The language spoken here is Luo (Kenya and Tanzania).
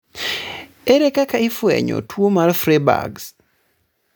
ere kaka ifwenyo tuo mar Freiberg's?